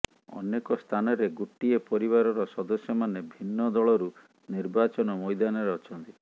ଅନେକ ସ୍ଥାନରେ ଗୋଟିଏ ପରିବାରର ସଦସ୍ୟମାନେ ଭିନ୍ନ ଦଳରୁ ନିର୍ବାଚନ ମଇଦାନରେ ଅଛନ୍ତି